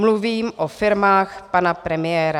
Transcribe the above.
Mluvím o firmách pana premiéra.